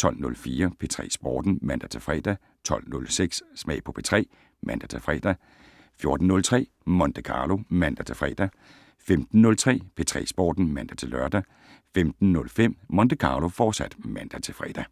12:04: P3 Sporten (man-fre) 12:06: Smag på P3 (man-fre) 14:03: Monte Carlo (man-fre) 15:03: P3 Sporten (man-lør) 15:05: Monte Carlo, fortsat (man-fre)